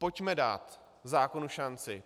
Pojďme dát zákonu šanci.